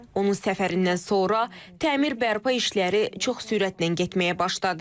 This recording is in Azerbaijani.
Onun səfərindən sonra təmir bərpa işləri çox sürətlə getməyə başladı.